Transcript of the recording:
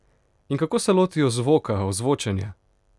In kako se lotijo zvoka, ozvočenja?